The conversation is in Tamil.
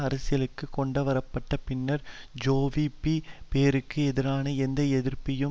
அரசியலுக்கு கொண்டுவர பட்ட பின்னர் ஜேவிபி போருக்கு எதிரான எந்த எதிர்ப்பையும்